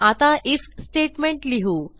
आता if statement लिहू